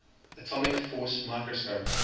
atomic force microscope